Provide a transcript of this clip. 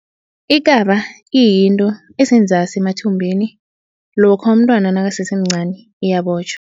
Ikaba iyinto esenzasi emathumbini. Lokha umntwana nakasesemncani iyabotjhwa.